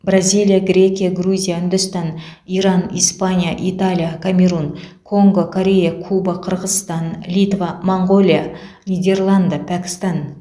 бразилия грекия грузия үндістан иран испания италия камерун конго корея куба қырғызстан литва моңғолия нидерланды пәкістан